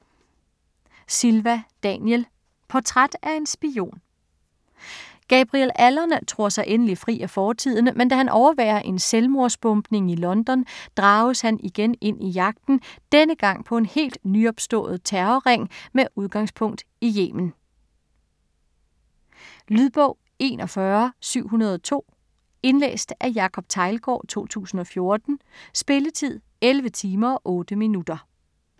Silva, Daniel: Portræt af en spion Gabriel Allon tror sig endelig fri af fortiden, men da han overværer en selvmordsbombning i London, drages han igen ind i jagten: denne gang på en helt nyopstået terrorring med udgangspunkt i Yemen. Lydbog 41702 Indlæst af Jacob Teglgaard, 2014. Spilletid: 11 timer, 8 minutter.